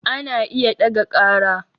Ana iya ɗaga ƙara